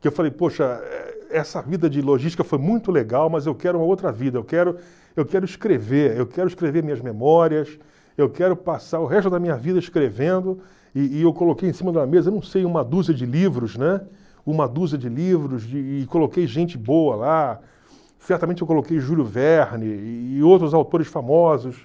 que eu falei, poxa, eh essa vida de logística foi muito legal, mas eu quero uma outra vida, eu quero eu quero escrever, eu quero escrever minhas memórias, eu quero passar o resto da minha vida escrevendo, e e eu coloquei em cima da mesa, eu não sei, uma dúzia de livros, né, uma dúzia de livros, e coloquei gente boa lá, certamente eu coloquei Júlio Verne e outros autores famosos.